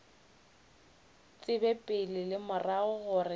tsebe pele le morago gore